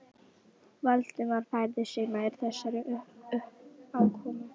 Valdimar færði sig nær þessari uppákomu.